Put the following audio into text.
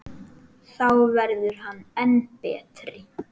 Þá verður hann enn betri.